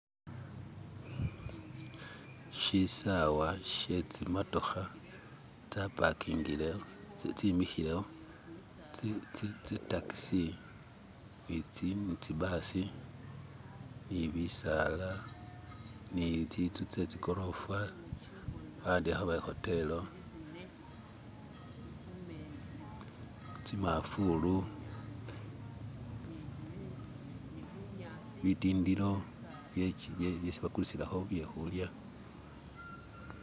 shisawa shetsimotoha tsapakingilewo tsimihilewo tsitakisi nitsibasi nibisaala nitsintsu tsetsi korofa bawandihaho bari hotelo tsimafulu bitindilo byesi bakulisilaho byehulya